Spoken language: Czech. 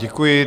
Děkuji.